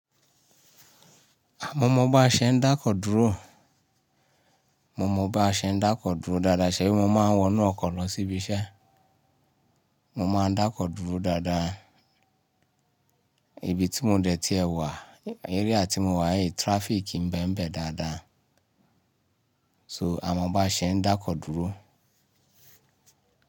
Ah! Mo mọ bá ṣe n dákọ̀ dúró, mo mọ bá ṣe n dákọ̀ dúró dáadáa, ṣẹ̀bí mo máa ń wọnú ọkọ̀ lọ síbi iṣẹ́. Mo máa n dákọ̀ dúró dáadáa. Ibi tí mo dẹ̀ tí è wà, area tí mo wà yìí traffic ń bẹ́mbẹ̀ dáadáa. So àmọ́ bá ṣe n dákọ̀ dúró.